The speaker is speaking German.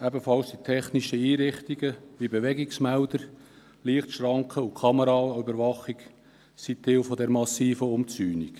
Auch technische Einrichtungen, wie etwa Bewegungsmelder, Lichtschranken und Kameraüberwachung, sind Teil dieser massiven Umzäunung.